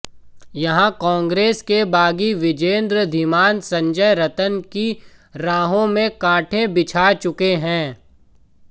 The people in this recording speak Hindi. यहां कांग्रेस के बागी विजेंद्र धीमान संजय रतन की राहों में कांटे बिछा चुके हैं